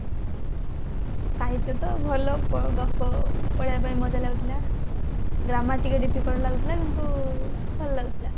ସାହିତ୍ଯ ତ ଭଲ ଗପ ପଢିବା ପାଇଁ ମଜା ଲାଗୁଥିଲା grammar ଟିକେ difficult ଲାଗୁଥିଲା କିନ୍ତୁ ଭଲ ଲାଗୁଥିଲା